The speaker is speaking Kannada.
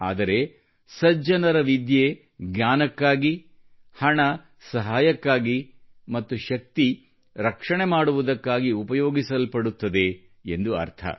ಆದರೆ ಸಜ್ಜನರ ವಿದ್ಯೆಯು ಜ್ಞಾನಕ್ಕಾಗಿ ಹಣವು ಸಹಾಯಕ್ಕಾಗಿ ಮತ್ತು ಶಕ್ತಿಯು ರಕ್ಷಣೆ ಮಾಡುವುದಕ್ಕಾಗಿ ಉಪಯೋಗಿಸಲ್ಪಡುತ್ತದೆ ಎಂದು ಅರ್ಥ